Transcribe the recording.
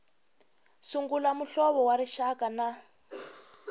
sungula muhlovo wa rixaka na